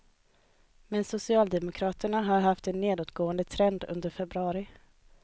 Men socialdemokraterna har haft en nedåtgående trend under februari.